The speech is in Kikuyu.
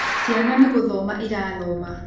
Ciana nĩgũthoma irathoma